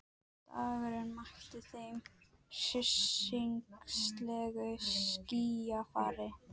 Dagurinn mætti þeim með hryssingslegu skýjafari.